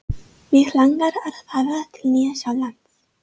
Mig langar að fara til Nýja-Sjálands.